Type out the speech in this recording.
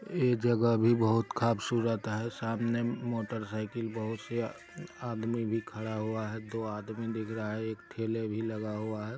यह जगह भी बहुत खबसूरत है सामने मोटर साइकिल बहुत से आदमी भी खड़ा हुआ है दो आदमी है एक ठेले भी लगा हुआ है।